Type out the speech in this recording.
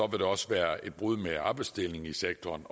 det også være et brud med arbejdsdelingen i sektoren